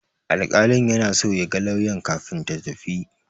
Alƙalin yana so ya ga lauyan kafin ta tafi.